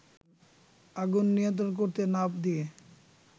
আগুনে নিয়ন্ত্রণ করতে না দিয়ে